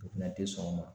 U fɛnɛ tɛ sɔn o ma